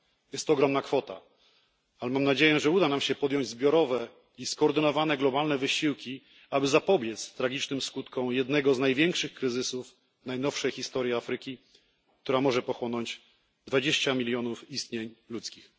Jest to ogromna kwota, ale mam nadzieję, że uda nam się podjąć zbiorowe i skoordynowane globalne wysiłki, aby zapobiec tragicznym skutkom jednego z największych kryzysów najnowszej historii Afryki, który może pochłonąć 20 milionów istnień ludzkich.